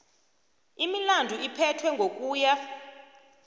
imilandu iphethwe ngokuya